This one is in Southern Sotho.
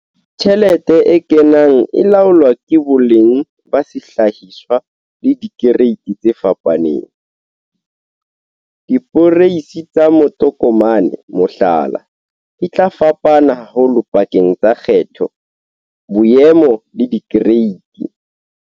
Tjhelete e kenang e laolwa ke boleng ba sehlahiswa le dikereiti tse fapaneng. Diporeisi tsa matokomane, mohlala, di tla fapana haholo pakeng tsa kgetho, boemo le dikereiti